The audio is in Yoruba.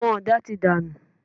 Àwọn ọ̀dà ti dànù.